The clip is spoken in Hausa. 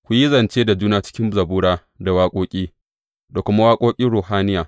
Ku yi zance da juna cikin zabura, da waƙoƙi, da kuma waƙoƙin ruhaniya.